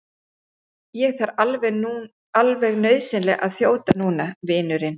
Ég þarf alveg nauðsynlega að þjóta núna, vinurinn.